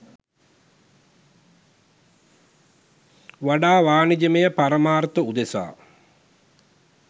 වඩා වාණිජමය පරමාර්ථ උදෙසා